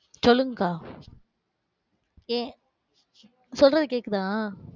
சொல்லுங்க்கா. ஏன் சொல்றது கேக்குதா?